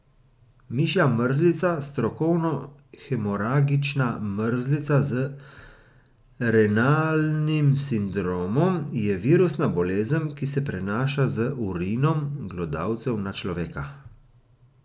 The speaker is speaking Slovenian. Mišja mrzlica, strokovno hemoragična mrzlica z renalnim sindromom, je virusna bolezen, ki se prenaša z urinom glodavcev na človeka.